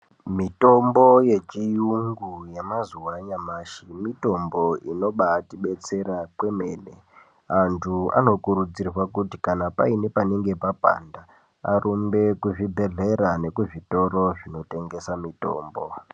Mitombo yechiyungu, yemazuva anyamashi mitombo inobaatibetsera kwemene. Antu anokurudzirwa kuti kana paine panenge papanda, arumbe kuzvibhehlera nekuzvitoro zvinotengesa mitombo.